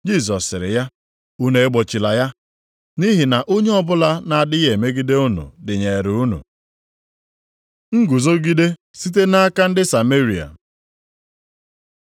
Jisọs sịrị ya, “Unu egbochila ya. Nʼihi na onye ọbụla na-adịghị emegide unu dịnyeere unu.” Nguzogide site nʼaka ndị Sameria